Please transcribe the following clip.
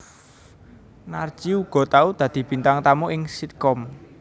Narji uga tau dadi bintang tamu ing sitkom